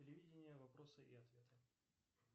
телевидение вопросы и ответы